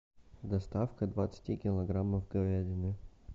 доставка двадцати килограммов говядины